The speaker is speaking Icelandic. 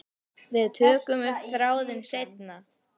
Við tökum upp þráðinn seinna.